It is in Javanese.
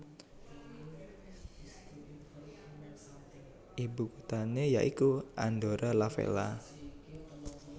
Ibukuthane ya iku Andorra la Vella